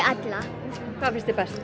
allan hvað finnst þér best